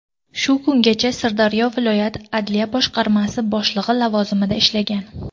Shu kungacha Sirdaryo viloyat adliya boshqarmasi boshlig‘i lavozimida ishlagan.